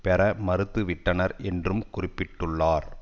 பெற மறுத்துவிட்டனர் என்றும் குறிப்பிட்டுள்ளார்